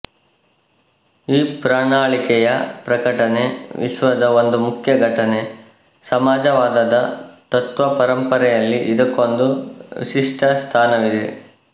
ಈ ಪ್ರಣಾಳಿಕೆಯ ಪ್ರಕಟಣೆ ವಿಶ್ವದ ಒಂದು ಮುಖ್ಯ ಘಟನೆ ಸಮಾಜವಾದದ ತತ್ತ್ವ ಪರಂಪರೆಯಲ್ಲಿ ಇದಕ್ಕೊಂದು ವಿಶಿಷ್ಟಸ್ಥಾನವಿದೆ